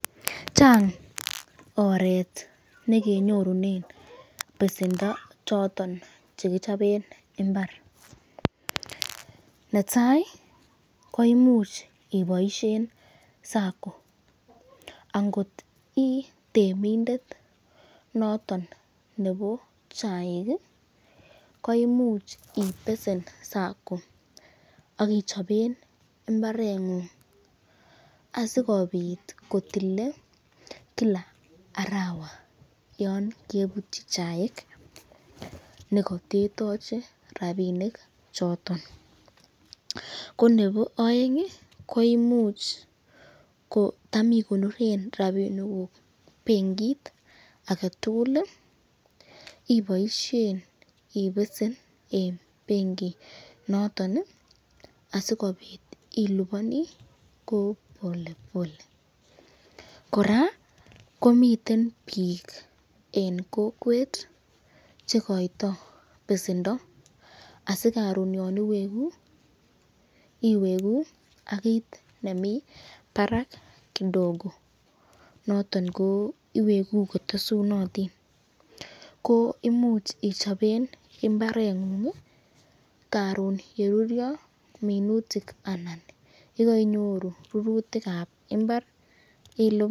Chang oret nekenyorunen besendo choton chekichoben imbar, netai ko imuch iboishen SACCO ,angot ii temindet noton nebo chaik , koimuch ibesen SACCO akichsben imbarengung asikobit kotilen Kila arawa, yon kebutyi chaik nekatetache rapinik choton, ko nebo aeng ko imuch ko tam ikonoren rapinikuk benkit ake tukul , iboishen ibesen eng benkit noton asikobit ilubani ko polepole, koraa komiten bik eng kokwet chekoiyto besendo asikobit koron yon iweku iweku ak kit nemi barak kidogo, noton ko iweku kotesutotin, ko imuch ichoben imbarengung karon yeruryo minutik anan kainyoru rurutikab imbar ilipan.